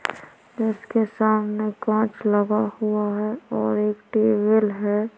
उसके सामने कांच लगा हुआ हैं और एक टेबल हैं।